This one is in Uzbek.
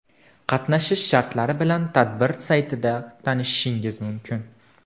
Qatnashish shartlari bilan tadbir saytida tanishishingiz mumkin.